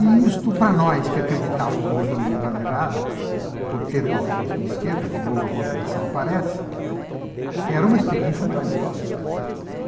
E isto, para nós que acreditávamos numa economia planejada, por ter uma formação de esquerda, e de novo a contradição aparece, né, era uma experiência maravilhosa, né.